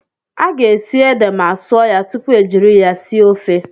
A ga-esi ede ma sụọ ya tupu ejiri ya sie ofe.